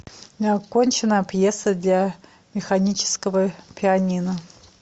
неоконченная пьеса для механического пианино